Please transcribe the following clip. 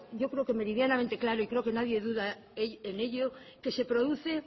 yo creo que medianamente claro y creo que nadie duda en ello que se produce